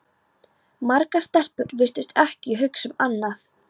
Margar stelpur virtust ekki hugsa um annað.